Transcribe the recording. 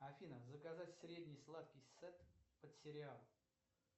афина заказать средний сладкий сет под сериал